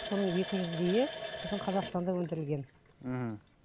соның екі жүздейі біздің қазақстанда өндірілген мхм